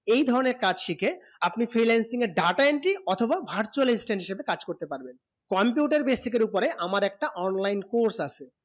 এই ধরণে কাজ শিখে আপনি freelancing এ data entry অথবা virtual assistant এ কাজ করতে পারবে computer basic উপরে আমার একটা online আছে